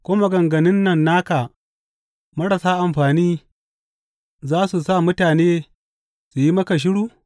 Ko maganganun nan naka marasa amfani za su sa mutane su yi maka shiru?